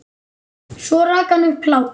Svo rak hann upp hlátur.